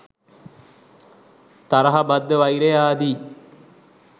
තරහ බද්ධ වෛරය ආදී